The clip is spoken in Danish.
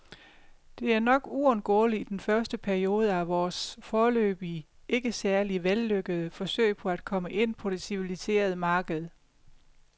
Det er nok uundgåeligt i den første periode af vores, foreløbig ikke særlig vellykkede, forsøg på at komme ind på det civiliserede marked.